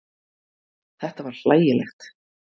Þetta var hlægilegt.